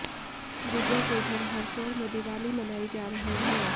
विजय के घर हरसौर में दिवाली मनाई जा रही है